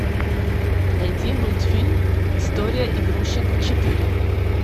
найди мультфильм история игрушек четыре